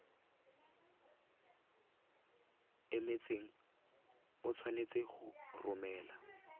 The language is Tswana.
emetseng o tshwanetse go romela